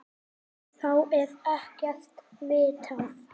Þá er ekkert vitað.